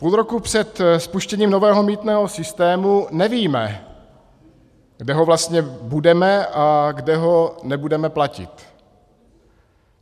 Půl roku před spuštěním nového mýtného systému nevíme, kde ho vlastně budeme a kde ho nebudeme platit.